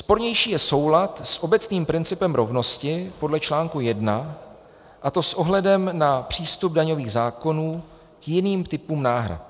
Spornější je soulad s obecným principem rovnosti podle článku 1, a to s ohledem na přístup daňových zákonů k jiným typům náhrad.